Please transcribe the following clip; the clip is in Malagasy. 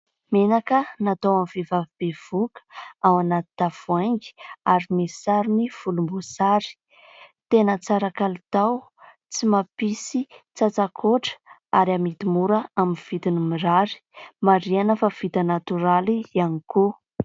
Menaka natao ho an'ny vehivavy bevoka. Ao anaty tavoahangy ary misy sarony volomboasary. Tena tsara kalitao, tsy mampisy tsatsakoatra ary amidy mora amin'ny vidiny mirary. Marihina fa vita natoraly ihany koa.